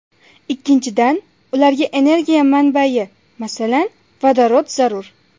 Ikkinchidan, ularga energiya manbayi, masalan, vodorod zarur.